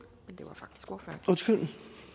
men